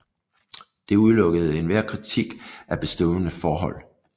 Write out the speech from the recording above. Det udelukkede enhver kritik af bestående forhold